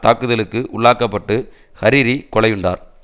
தாக்குதலுக்கு உள்ளாக்க பட்டு ஹரிரி கொலையுண்டார்